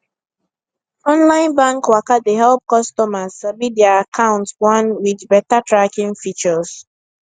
online bank waka dey help customers sabi their account gwan with beta tracking features